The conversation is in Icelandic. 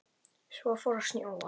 Svo fór að snjóa.